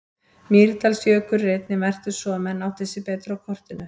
Mýrdalsjökull er einnig merktur svo að menn átti sig betur á kortinu.